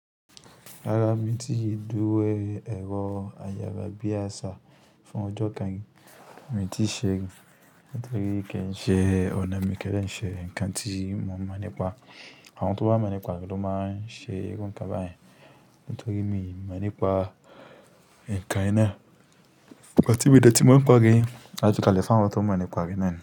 Rárá mi ti dúró rí ẹ̀rọ ayára bí àsá fún ọjọ́ kan. Èmi ti ṣe rí nítorí pé kin se ọ̀nà mi ki ń de ṣe ǹkan tí mo mọ̀ nípa àwọn tó bá mọ̀ nípa rẹ̀ tó máa ń ṣe irú ǹkan báyìí. Nítorí mi ò mọ̀ nípa ǹkan yìí náà. But ti mí i o dẹ́tí mo mọ̀ nipa re, a ju kalẹ̀ fún àwọn tó mọ̀ nípa rẹ̀ nínú.